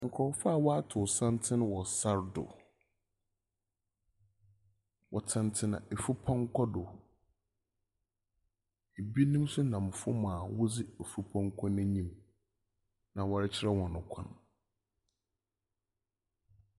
Nkurɔfoɔ a wɔatow santsene wɔ sar do. Wɔtsenatsena efupɔnkɔ do. Ebinom nso nam fam a wodzi efupɔnkɔ no enyim, na wɔrekyerɛ hɔn kwan.